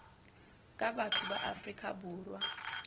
ka batho ba afrika borwa